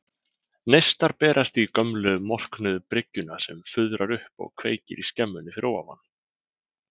Neistar berast í gömlu, morknuðu bryggjuna sem fuðrar upp og kveikir í skemmunni fyrir ofan.